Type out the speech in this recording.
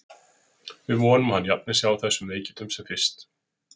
Við vonum að hann jafni sig af þessum veikindum sem fyrst.